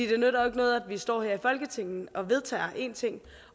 det nytter jo ikke noget at vi står her i folketinget og vedtager en ting